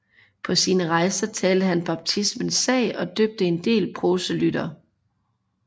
På sine rejser talte han baptismens sag og døbte en del proselytter